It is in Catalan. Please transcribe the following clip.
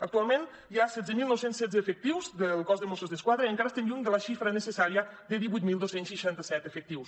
actualment hi ha setze mil nou cents i setze efectius del cos de mossos d’esquadra i encara estem lluny de la xifra necessària de divuit mil dos cents i seixanta set efectius